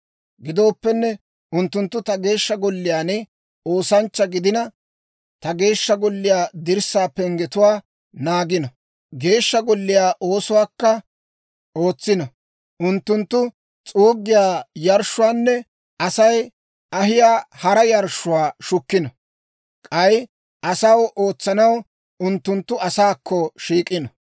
Gidooppenne, unttunttu ta Geeshsha Golliyaan oosanchcha gidino; ta Geeshsha Golliyaa dirssaa penggetuwaa naagino; Geeshsha Golliyaa oosuwaakka ootsino. Unttunttu s'uuggiyaa yarshshuwaanne Asay ahiyaa hara yarshshuwaa shukkino; k'ay asaw ootsanaw, unttunttu asaakko shiik'ino.